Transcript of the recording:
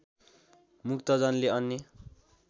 मुक्तजनले अन्य